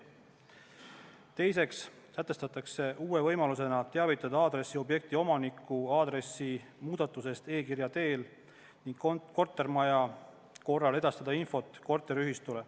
Teiseks sätestatakse uue võimalusena teavitada aadressiobjekti omanikku aadressi muudatusest e-kirja teel ning kortermaja korral edastada info korteriühistule.